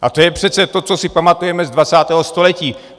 A to je přece to, co si pamatujeme z 20. století.